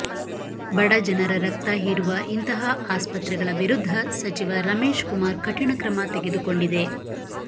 ಬಡ ಜನರ ರಕ್ತ ಹೀರುವ ಇಂತಹ ಆಸ್ಪತ್ರೆಗಳ ವಿರುದ್ದ ಸಚಿವ ರಮೇಶ್ ಕುಮಾರ್ ಕಠಿಣ ಕ್ರಮ ತೆಗೆದುಕೊಂಡಿದೆ